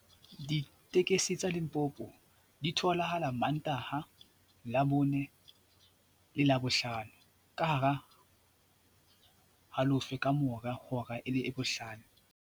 Ditekesi tsa Limpopo di tholahala Mantaha, Labone le Labohlano, ka hara .